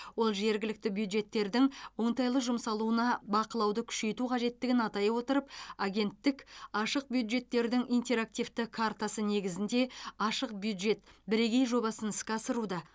ол жергілікті бюджеттердің оңтайлы жұмсалуына бақылауды күшейту қажеттігін атай отырып агенттік ашық бюджеттердің интерактивті картасы негізінде ашық бюджет бірегей жобасын іске асыруда